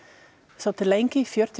svolítið lengi fjörutíu